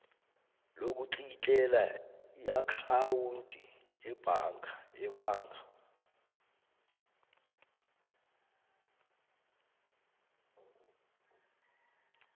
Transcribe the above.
lokutlikitlela iakhawundi yebhaga